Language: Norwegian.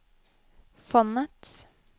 fondets